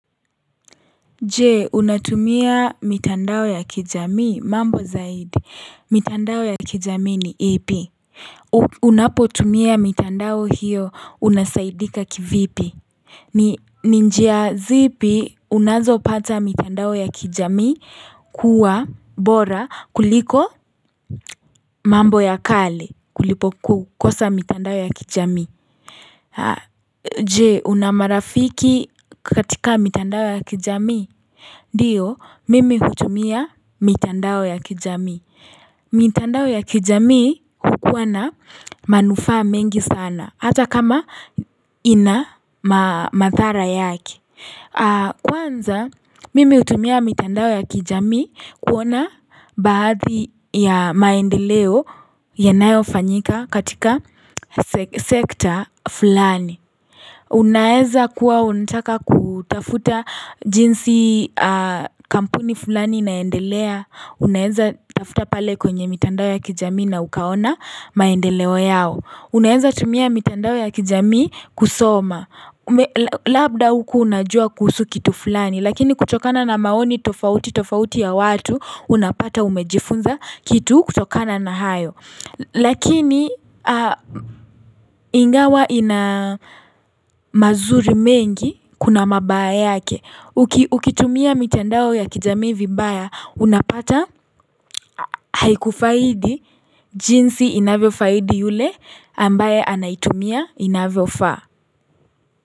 Je unatumia mitandao ya kijamii mambo zaidi mitandao ya kijamii ni ipi Unapo tumia mitandao hiyo unasaidika kivipi ni njia zipi unazopata mitandao ya kijamii kuwa bora kuliko mambo ya kale kulipokukosa mitandao ya kijamii Je una marafiki katika mitandao ya kijamii ndio, mimi hutumia mitandao ya kijamii. Mitandao ya kijamii hukuwana manufaa mengi sana, hata kama ina madhara yake. Kwanza, mimi hutumia mitandao ya kijamii kuona baadhi ya maendeleo yanayofanyika katika sekta fulani. Unaweza kuwa unataka kutafuta jinsi kampuni fulani inaendelea Unaweza tafuta pale kwenye mitandao ya kijamii na ukaona maendeleo yao Unaweza tumia mitandao ya kijamii kusoma Labda hukua unajua kuhusu kitu fulani Lakini kutokana na maoni tofauti tofauti ya watu Unapata umejifunza kitu kutokana na hayo lakini ingawa ina mazuri mengi kuna mabaya yake ukitumia mitandao ya kijamii vibaya unapata haikufaidi jinsi inavyo faidi yule ambaye anaitumia inavyofaa.